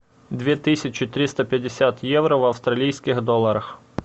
две тысячи триста пятьдесят евро в австралийских долларах